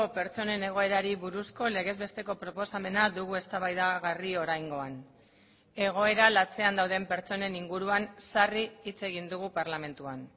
pertsonen egoerari buruzko legez besteko proposamena dugu eztabaidagarri oraingoan egoera latzean dauden pertsonen inguruan sarri hitz egin dugu parlamentuan